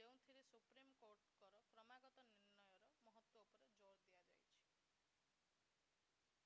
ଯେଉଁଥିରେ ସୁପ୍ରିମକୋର୍ଟଙ୍କର କ୍ରମାଗତ ନିର୍ଣ୍ଣୟର ମହତ୍ତ୍ଵ ଉପରେ ଜୋର ଦିଆଯାଇଥିଲା